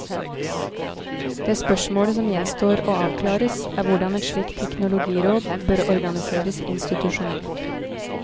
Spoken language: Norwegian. Det spørsmålet som gjenstår å avklares, er hvordan et slikt teknologiråd bør organiseres institusjonelt.